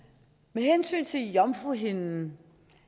med hensyn til jomfruhinden